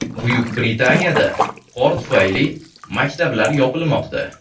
Buyuk Britaniyada qor tufayli maktablar yopilmoqda.